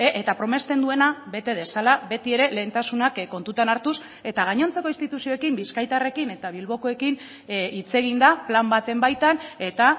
eta promesten duena bete dezala beti ere lehentasunak kontutan hartuz eta gainontzeko instituzioekin bizkaitarrekin eta bilbokoekin hitz eginda plan baten baitan eta